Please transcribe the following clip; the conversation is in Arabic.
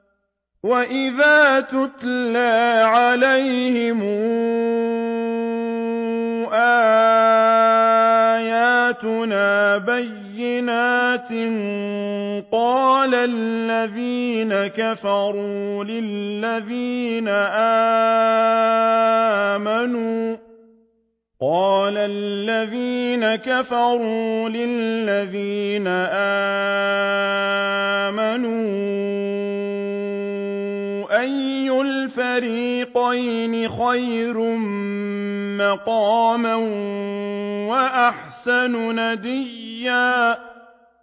وَإِذَا تُتْلَىٰ عَلَيْهِمْ آيَاتُنَا بَيِّنَاتٍ قَالَ الَّذِينَ كَفَرُوا لِلَّذِينَ آمَنُوا أَيُّ الْفَرِيقَيْنِ خَيْرٌ مَّقَامًا وَأَحْسَنُ نَدِيًّا